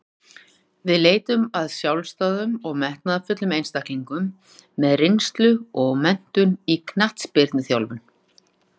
Leitað er að sjálfstæðum og metnaðarfullum einstaklingum með reynslu og menntun í knattspyrnuþjálfun.